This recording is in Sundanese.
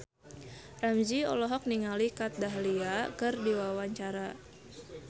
Ramzy olohok ningali Kat Dahlia keur diwawancara